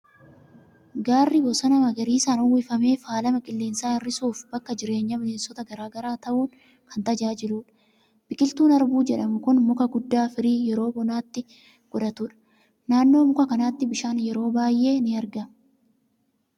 Gaarri bosona magariisaan uwwifame faalama qilleensaa hir'isuu fi bakka jireenya bineensota garaa garaa ta'uun kan tajaajiludha. Biqiltuun harbuu jedhamu kun muka guddaa firii yeroo bonaatti godhatudha. Naannoo muka kanaatti bishaan yeroo baay'ee ni argama.